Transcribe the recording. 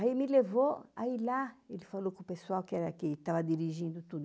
Aí me levou, aí lá, ele falou com o pessoal que era que estava dirigindo tudo.